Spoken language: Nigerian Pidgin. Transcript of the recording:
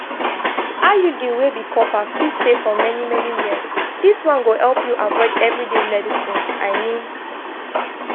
iud wey be copper fit stay for many-many years this one go help you avoid everyday medicines i mean.